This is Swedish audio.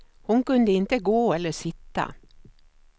Hon kunde inte gå eller sitta.